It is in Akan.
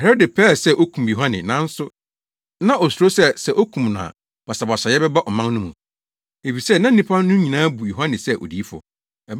Herode pɛɛ sɛ okum Yohane. Nanso na osuro sɛ, sɛ okum no a basabasayɛ bɛba ɔman no mu. Efisɛ na nnipa no nyinaa bu Yohane sɛ odiyifo.